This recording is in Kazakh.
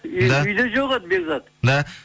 үйде жоқ еді бекзат